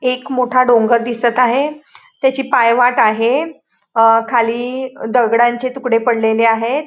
एक मोठा डोंगर दिसत आहे त्याची पायवाट आहे अ खाली दगडांचे तुकडे पडलेले आहेत.